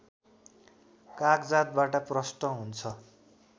कागजातबाट प्रष्ट हुन्छ